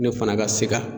Ne fana ka sika